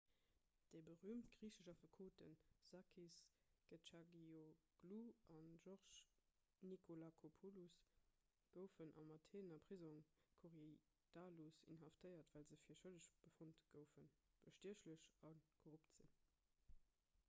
déi berüümt griichesch affekoten sakis kechagioglou a george nikolakopoulos goufen am atheener prisong korydallus inhaftéiert well se fir schëlleg befonnt goufen bestiechlech a korrupt ze sinn